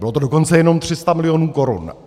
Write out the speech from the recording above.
Bylo to dokonce jenom 300 milionů korun.